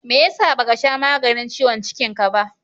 meyasa ba Ka sha maganin ciwon cikin Ka ba